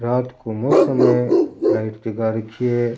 रात को मौसम है लाइट जगा रखी है।